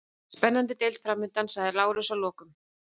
Spennandi deild framundan, sagði Lárus að lokum.